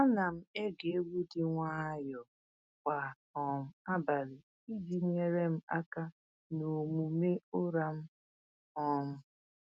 Ana m ege egwu dị nwayọọ kwa um abalị iji nyere m aka n’omume ụra m. um